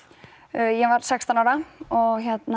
ég var sextán ára og